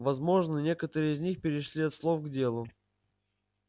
возможно некоторые из них перешли от слов к делу